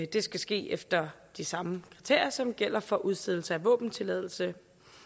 det skal ske efter de samme kriterier som gælder for udstedelse af våbentilladelse